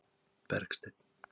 Bergsteinn